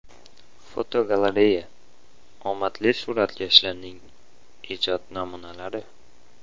Fotogalereya: Omadli suratkashlarning ijod namunalari.